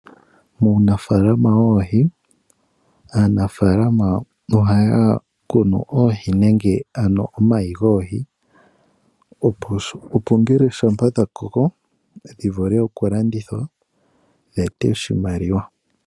Muunafaalama woohi, aanafaalama ohaya kunu oohi nenge ano omayi goohi, opo ngele shampa dha koko, dhi vule oku landithwa, dhi ete oshimaliwa.